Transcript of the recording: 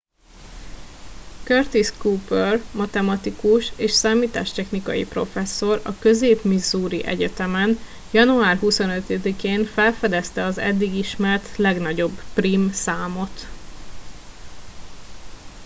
curtis cooper matematikus és számítástechnikai professzor a közép missouri egyetemen január 25 én felfedezte az eddig ismert legnagyobb prím számot